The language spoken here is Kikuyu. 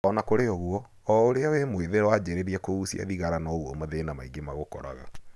Ona kũrĩ ũguo,o ũrĩa wĩ mwĩthĩ wanjĩrĩria kũgucia thĩgara noguo mathĩna maingĩ magũkoraga.